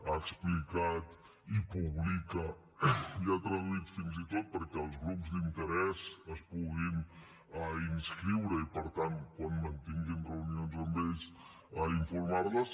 ha explicat i publica ja traduït fins i tot perquè els grups d’interès es puguin inscriure i per tant quan mantinguin reunions amb ells a informar les